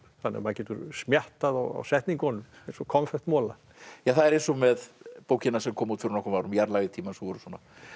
þannig að maður getur á setningunum eins og konfektmola það er eins og með bókina sem kom út fyrir nokkrum árum jarðlag í tímanum voru svona